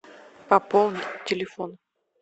пополнить телефон